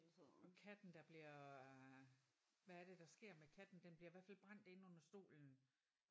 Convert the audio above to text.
Og katten der bliver hvad er det der sker med katten den bliver i hvert fald brændt inde under stolen